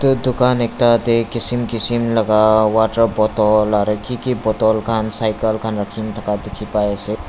dukan ekta teh kisum kisum laga waterbottle aro kiki bottle khan cycle khan rakha dikhi pai ase.